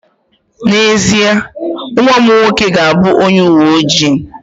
N'ezie, nwa m nwoke ga-abụ onye uwe ojii